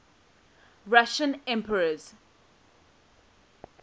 russian emperors